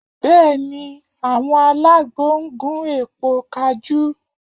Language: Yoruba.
Bẹ́ẹ̀ ni, àwọn alágbo ń gún èpo kajú